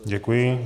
Děkuji.